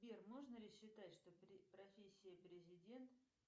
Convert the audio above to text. сбер можно ли считать что профессия президент